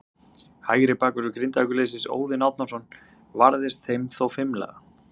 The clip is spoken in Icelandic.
Hægri bakvörður Grindavíkurliðsins, Óðinn Árnason, varðist þeim þó fimlega.